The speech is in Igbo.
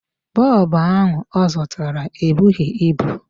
Bulb ahụ ọ zụtara ebughị ibu.